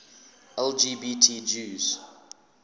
lgbt jews